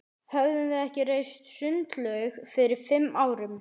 Höfðum við ekki reist sundlaug fyrir fimm árum?